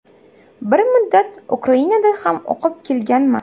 Bir muddat Ukrainada ham o‘qib kelganman.